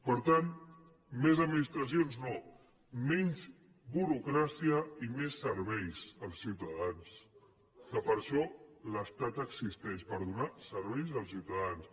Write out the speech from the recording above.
per tant més administracions no menys burocràcia i més serveis als ciutadans que per això l’estat existeix per donar serveis als ciutadans